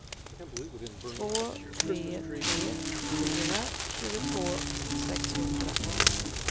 två tre tre fyra tjugotvå sexhundra